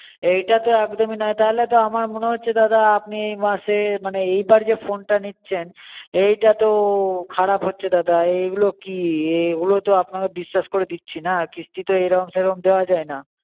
এইটা তো একদমই নয় তাহলে তো আমার মনে হচ্ছে দাদা আপনি এ মাসে মানে এইবার যে phone টা নিচ্ছেন এইটা তো খারাপ হচ্ছে দাদা, এগুলো কি এগুলো তো আপনাকে বিশ্বাস করে দিচ্ছি না আর কিস্তিতো এরম সেরম দেওয়া যায় না